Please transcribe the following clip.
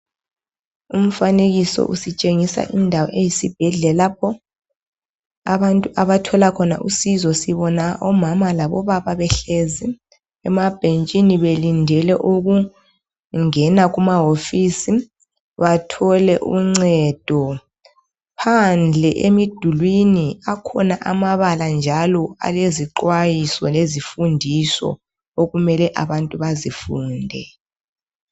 Umfanekiso usitshengisa indawo eyi sibhedlela lapho abantu abathola khona usizo. Sibona omama labo baba behlezi emabentshini belindele ukungena kumahofisi bathole uncedo. Phandle emidulini akhona amabala njalo alezixwayiso lezifundiso okumele abantu bazifunde.